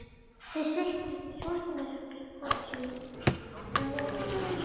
Þeir settust í svartamyrkrið hvor sínu megin gangsins.